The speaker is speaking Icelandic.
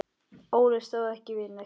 Óli stóð ekki við neitt.